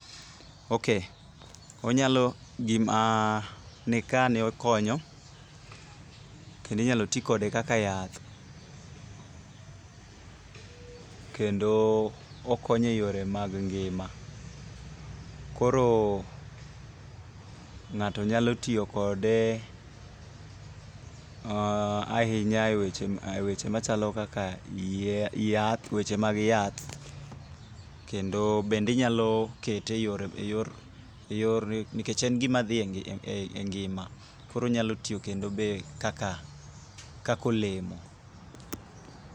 Ok, onyalo gima nikane ,okonyo, kendo inyalo ti kode kaka yath. Kendo okonyo e yore mag ngima. Koro ng'ato nyalo tiyo kode ahinya e weche ma chalo kaka yath, weche mag yath, kendo bende inyalo kete e yor ,nikech en gima dhi e ngima. Koro onyalo tiyo kendo be kaka olemo.